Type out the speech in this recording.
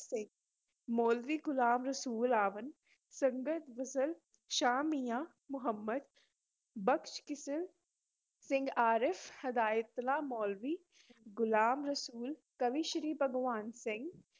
ਸਿੰਘ, ਮੌਲਵੀ ਗੁਲਾਮ ਰਸੂਲ ਆਵਾਨ, ਸੱਯਦ ਫਜ਼ਲ ਸ਼ਾਹ, ਮੀਆਂ ਮੁਹੰਮਦ, ਬਖ਼ਸ਼ ਕਿਸ਼ਲ ਸਿੰਘ, ਆਰਿਫ਼ ਹਦਾਇਤੁੱਲਾ ਮੌਲਵੀ, ਗ਼ੁਲਾਮ ਰਸੂਲ, ਕਵੀਸ਼ਰੀ ਭਗਵਾਨ ਸਿੰਘ।